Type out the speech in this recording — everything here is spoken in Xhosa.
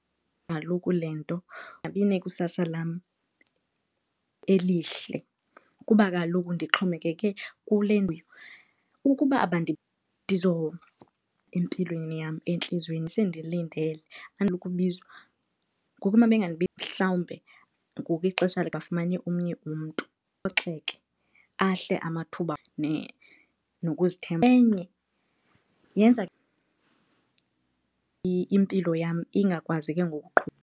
Kaloku le nto inekusasa lam elihle kuba kaloku ndixhomekeke kule . Ukuba empilweni yam, entliziyweni sendilindele ubizwa, ngoku uma , mhlawumbe ngoku ixesha bafumane omnye umntu ndiphoxheke, ahle amathuba nokuzithemba. Enye yenza impilo yam ingakwazi ke ngoku .